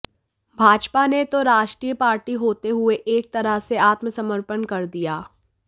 भाजपा ने तो राष्ट्रीय पार्टी होते हुये एक तरह से आत्मसमर्पण कर दिया